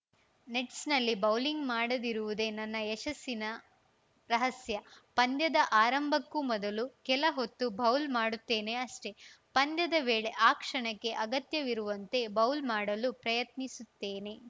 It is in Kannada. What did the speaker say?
ನೆಟ್ಸ್‌ನಲ್ಲಿ ಬೌಲಿಂಗ್‌ ಮಾಡದಿರುವುದೇ ನನ್ನ ಯಶಸ್ಸಿನ ರಹಸ್ಯ ಪಂದ್ಯದ ಆರಂಭಕ್ಕೂ ಮೊದಲು ಕೆಲ ಹೊತ್ತು ಬೌಲ್‌ ಮಾಡುತ್ತೇನೆ ಅಷ್ಟೇ ಪಂದ್ಯದ ವೇಳೆ ಆ ಕ್ಷಣಕ್ಕೆ ಅಗತ್ಯವಿರುವಂತೆ ಬೌಲ್‌ ಮಾಡಲು ಪ್ರಯತ್ನಿಸುತ್ತೇನೆ